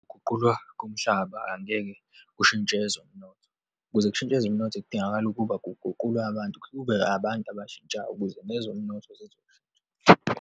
Ukuguqulwa komhlaba angeke kushintshe ezomnotho. Ukuze kushintshe ezomnotho, kudingakala ukuba kuguqulwe abantu, kube abantu abatshintshayo ukuze nezomnotho zizoshintsha.